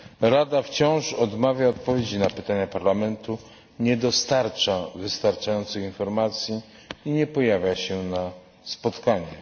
Rada wciąż odmawia odpowiedzi na pytania Parlamentu, nie dostarcza wystarczających informacji i nie pojawia się na spotkaniach.